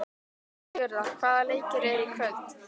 Sigurða, hvaða leikir eru í kvöld?